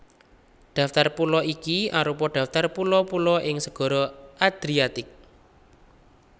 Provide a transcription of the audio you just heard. Daftar pulo iki arupa daftar pulo pulo ing Segara Adriatik